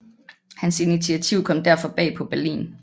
Hans initiativ kom derfor bag på Berlin